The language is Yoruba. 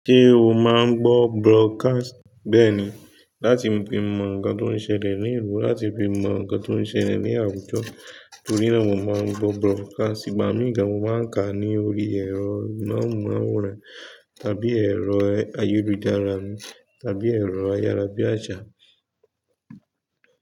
Ṣé o máa ń gbọ́ broadcast? Bẹ́ẹ̀ni, láti fi mọ̀ nǹkan tó ń ṣẹlẹ̀ ní ìlú, láti fi mọ̀ nǹkan tó ń ṣẹlẹ̀ ní àwùjọ. Torí náà mo máa ń gbọ́ broadcast, gbà mí ga mo máa ń kà á ní orí ẹ̀rọ amóhùmáwòhán tàbí ẹ̀rọ ayélujára mi tàbí ẹ̀rọ ayárabíàsà mi.